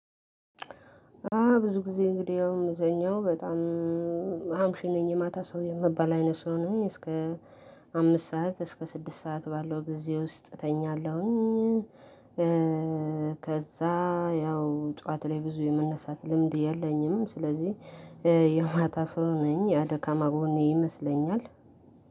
ብዙ ጊዜ እንግዲህ ያው እምተኛው በጣም አምሽ ነኝ የማታ ሰው ነኝ የምባል አይነት ሰው ነኝ እስከ አምስት ሰዓት እስከ ስድስት ሰዓት ባለው በዚህ ውስጥ እተኛለሁኝ። ከዛ ያው ጠዋት ላይ ብዙ የመነሳት ልምድ የለኝም። ስለዚህ የማታ ሰው ነኝ ያደካማ ጎኔ ይመስለኛል።